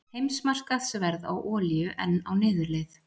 Heimsmarkaðsverð á olíu enn á niðurleið